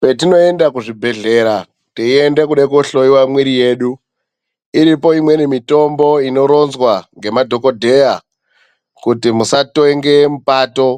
Patinoenda kuzvibhedhlera teiende kuda kohloiwa mwiri yedu. Iripo imweni mitombo inoronzwa nemadhogodheya kuti musa tenge mupato